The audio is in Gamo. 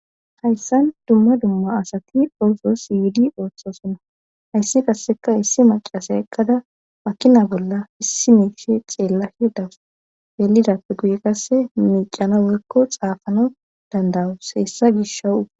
hayssan dumma dumma asati orso siidi ooththosonna hayssi qasseka issi maqase eqqada pakkina bolla issi miishe ceella hirdawus yelidappe guye qasse miicana weykko xaafano dandawus hessa gish hawu